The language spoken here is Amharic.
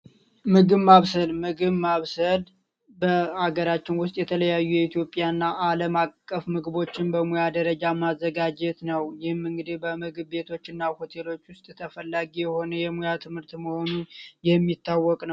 ምግብ ማብሰል፦ ምግብ ማብሰል በአገራችን ውስጥ የተለያዩ የኢትዮጵያና አለም አቀፍ ምግቦችን በሙያ ደረጃ ማዘጋጀት ነው። ይህም እንግዲህ በሆቴሎችና ምግብ ቤቶች ውስጥ ተፈላጊ የሆነ የሙያ ትምህርት መሆኑ የሚታወቅ ነው።